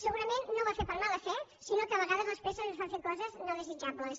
segurament no ho ha fet per mala fe sinó que a vegades les presses ens fan fer coses no desitjables